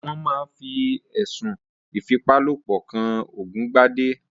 Wón máa fi ẹ̀sùn ìfipálopọ̀ kan Ògúngbadé